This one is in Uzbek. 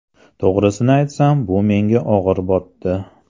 To‘g‘risini aytsam, bu menga og‘ir botdi.